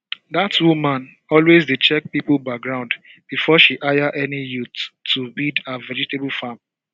dat woman always dey check people background before she hire any youth to weed her vegetable farm